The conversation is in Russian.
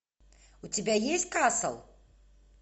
у тебя есть касл